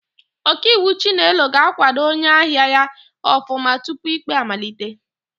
Ọkaiwu Chinelo ga-àkwádo onyeahịa ya ọfụma tupu ikpe amalite.